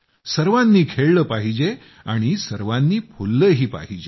सर्वांनी खेळलं पाहिजे आणि सर्वांनी फुललंही पाहिजे